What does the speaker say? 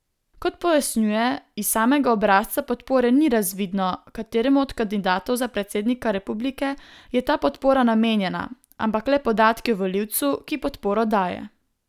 Kot pojasnjuje, iz samega obrazca podpore ni razvidno, kateremu od kandidatov za predsednika republike je ta podpora namenjena, ampak le podatki o volivcu, ki podporo daje.